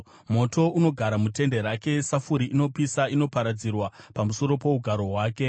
Moto unogara mutende rake; safuri inopisa inoparadzirwa pamusoro pougaro hwake.